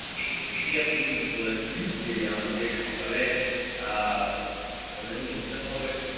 আপনি এটি আপনি ঠিক বলেছেন যে আমাদের সকাল এ আহ সকাল এ যখন উঠতে হবে